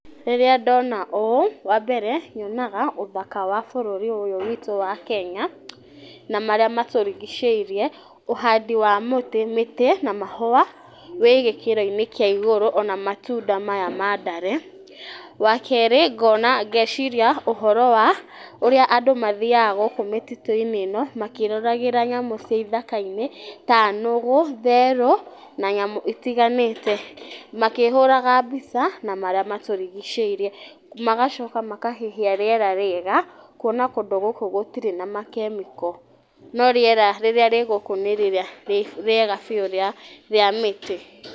Rĩrĩa ndona ũũ wambere nyonaga ũthaka wa bũrũri ũyũ witũ wa Kenya na marĩa matũrigicĩire, ũhandĩ wa mĩtĩ na mahũa wĩgĩkĩroinĩ kĩa igũrũ ona matunda maya ma ndare, wakerĩ ngona ngeciria ũhoro wa ũrĩa andũ mathiaga gũkũ mĩtitũinĩ ĩno makĩroragĩra thamũ cia ithakainĩ ta nũgũ, therũ na nyamũ itiganĩte makĩhũraga mbica na marĩa matũrigicĩirie magacoka makahihia rĩera rĩega kuona kũndũ gũkũ gũtirĩ na makemiko no rĩera rĩrĩa rĩgũkũ nĩ rĩrĩa rĩa rĩega biũ rĩa mĩtĩ.